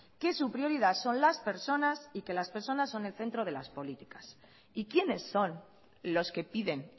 que su prioridad son las personas y que las personas son el centro de las políticas y quiénes son los que piden